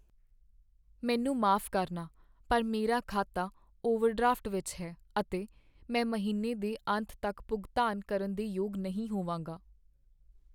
ਮੈਨੂੰ ਮਾਫ਼ ਕਰਨਾ, ਪਰ ਮੇਰਾ ਖਾਤਾ ਓਵਰਡ੍ਰਾਫਟ ਵਿੱਚ ਹੈ ਅਤੇ ਮੈਂ ਮਹੀਨੇ ਦੇ ਅੰਤ ਤੱਕ ਭੁਗਤਾਨ ਕਰਨ ਦੇ ਯੋਗ ਨਹੀਂ ਹੋਵਾਂਗਾ।